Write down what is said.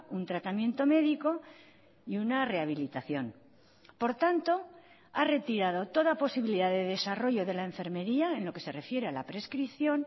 un tratamiento médico y una rehabilitación por tanto ha retirado toda posibilidad de desarrollo de la enfermería en lo que se refiere a la prescripción